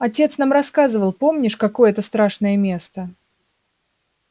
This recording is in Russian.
отец нам рассказывал помнишь какое это страшное место